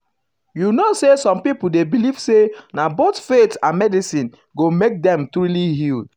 you um know say some people dey believe say na both faith and um medicine go make dem truly heal.